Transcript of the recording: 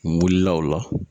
N wulila o la